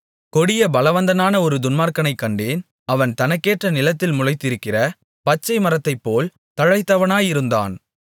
கொடிய பலவந்தனான ஒரு துன்மார்க்கனைக் கண்டேன் அவன் தனக்கேற்ற நிலத்தில் முளைத்திருக்கிற பச்சைமரத்தைப்போல் தழைத்தவனாயிருந்தான்